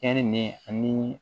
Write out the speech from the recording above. Kɛli ni